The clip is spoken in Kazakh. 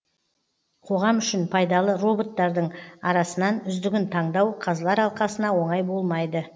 қоғам үшін пайдалы роботтардың арасынан үздігін таңдау қазылар алқасына оңай болмайды